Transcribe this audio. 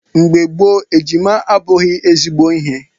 Mgbe gboo, ejima abụghị ezigbo ihe.